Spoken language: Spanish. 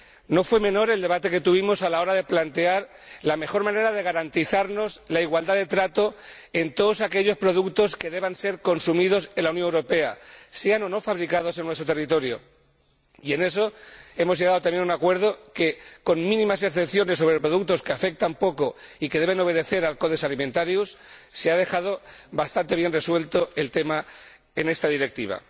No fue menor el debate que tuvimos a la hora de plantear la mejor manera de garantizar la igualdad de trato en todos aquellos productos que deban ser consumidos en la Unión Europea, sean o no fabricados en nuestro territorio, y en eso hemos llegado también a un acuerdo que, con mínimas excepciones sobre el producto, que afectan poco a este y que deben obedecer al Codex Alimentarius, se ha dejado bastante bien resuelto el tema en esta Directiva.